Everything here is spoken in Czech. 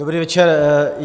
Dobrý večer.